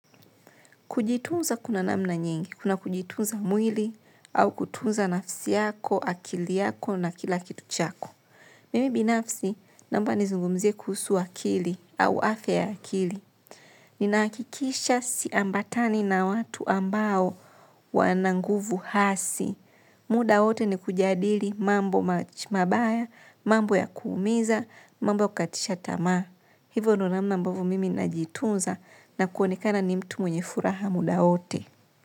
Kujitunza kuna namna nyingi, kuna kujitunza mwili au kutunza nafsi yako, akili yako na kila kitu chako. Mimi binafsi, naomba nizungumzie kuhusu akili au afya ya akili. Ninaakikisha si ambatani na watu ambao wananguvu hasi. Muda wote ni kujadili mambo mabaya, mambo ya kuumiza, mambo ya kukatisha tamaa. Hivo ndio namna ambavo mimi najitunza na kuonekana ni mtu mwenye furaha muda wote.